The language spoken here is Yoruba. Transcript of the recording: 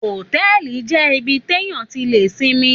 Òtẹlí jẹ ibiti tẹ yàn tí lè simi